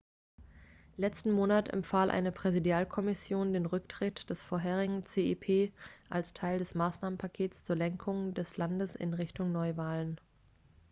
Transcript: letzten monat empfahl eine präsidialkommission den rücktritt des vorherigen cep als teil des maßnahmenpakets zur lenkung des landes in richtung neuwahlen